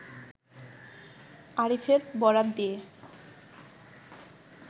আরিফের বরাত দিয়ে